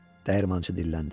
Dəyirmançı dilləndi.